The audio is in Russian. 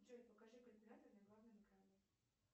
джой покажи калькулятор на главном экране